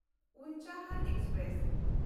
Unchahar express